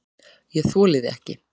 ÉG ÞOLI ÞIG EKKI!